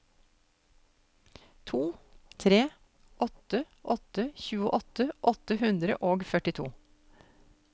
to tre åtte åtte tjueåtte åtte hundre og førtito